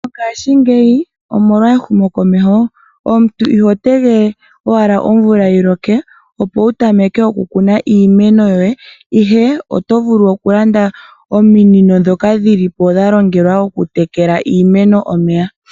Mongaashingeyi omolwa ehumo komeho omuntu iho tegelele owala omvula yiloke opo wuvule okukuna iimeno yoye ihe otovulu okulanda omiinino dhoka dhilipo dhalongelwa okutekela iimeno omeya.